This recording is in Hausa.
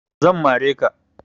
Zan mare ka.